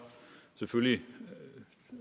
selvfølgelig